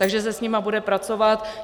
Takže se s nimi bude pracovat.